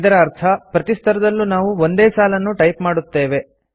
ಇದರ ಅರ್ಥ ಪ್ರತಿ ಸ್ತರದಲ್ಲೂ ನಾವು ಒಂದೇ ಸಾಲನ್ನು ಟೈಪ್ ಮಾಡುತ್ತೇವೆ